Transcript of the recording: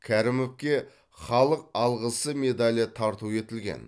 кәрімовке халық алғысы медалі тарту етілген